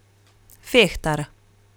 Fehtar.